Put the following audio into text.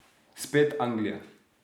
Spet Anglija.